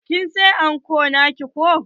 Kin saya anko naki ko?